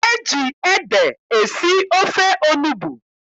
E ji ede esi ofe onugbu.